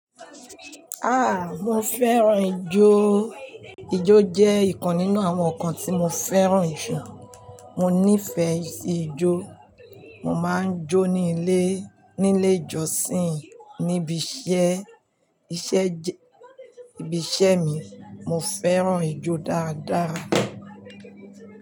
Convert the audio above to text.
Ah! Mo fẹ́ràn ijó. Ijó jẹ́ ìkan nínú àwọn nǹkan tí mo fẹ́ràn jù. Mo nífẹ́ si ijó. Mo máa ń jó ní ilé, nílé ìjọsìn, níbi iṣẹ́, iṣẹ́ jẹ́, ibi iṣẹ́ mi. Mo fẹ́ràn ijó dáadáa.